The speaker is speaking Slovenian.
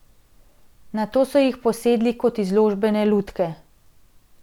Nato so jih posedli kot izložbene lutke.